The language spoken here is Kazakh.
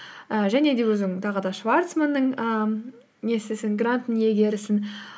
і және де өзің тағы да шварцманның ііі несісің гранттың иегерісің